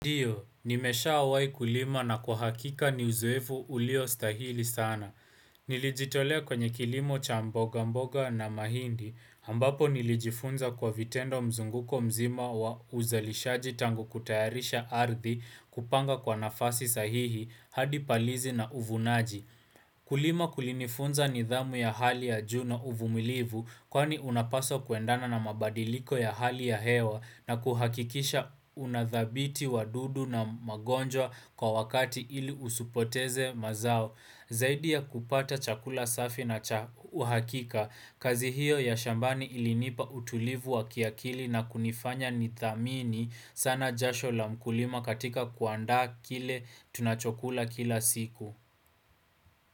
Ndiyo, nimeshaawahi kulima na kuhakika ni uzoefu uliostahili sana. Nilijitolea kwenye kilimo cha mboga mboga na mahindi, ambapo nilijifunza kwa vitendo mzunguko mzima wa uzalishaji tangu kutayarisha ardi kupanga kwa nafasi sahihi, hadi palizi na uvunaji. Kulima kulinifunza nidhamu ya hali ya juu na uvumilivu, Kwani unapaswa kuendana na mabadiliko ya hali ya hewa na kuhakikisha unadhabiti wa dudu na magonjwa kwa wakati ili usipoteze mazao Zaidi ya kupata chakula safi na uhakika, kazi hiyo ya shambani ilinipa utulivu wa kiakili na kunifanya nidhamini sana jasho la mkulima katika kuanda kile tunachokula kila siku.